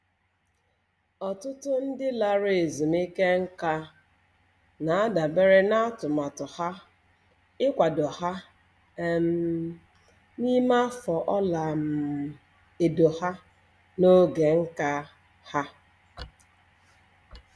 Ọtụtụ ndị lara ezumike nká na-adabere na atụmatụ ha ịkwado ha um n'ime afọ ọla um edo ha na oge nka ha